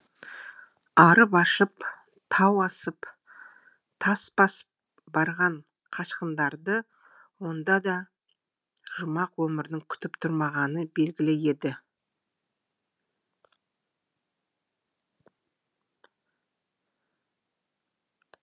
арып ашып тау асып тас басып барған қашқындарды онда да жұмақ өмірдің күтіп тұрмағаны белгілі еді